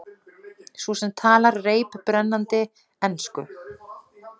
Þú sem talar reiprennandi ensku!